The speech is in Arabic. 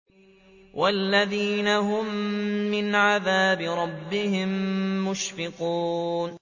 وَالَّذِينَ هُم مِّنْ عَذَابِ رَبِّهِم مُّشْفِقُونَ